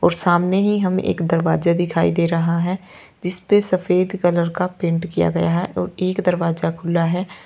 सामने ही हम एक दरवाजा दिखाई दे रहा है जिस पे सफेद कलर का पेंट किया गया है और एक दरवाजा खुला है।